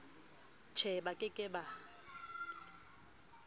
je ba ke ke ba